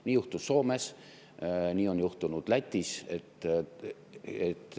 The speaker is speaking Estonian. Nii juhtus Soomes, nii on juhtunud Lätis.